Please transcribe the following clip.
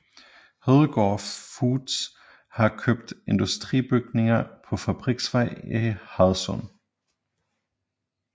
Hedegaard Foods har købt industribygninger på Fabriksvej i Hadsund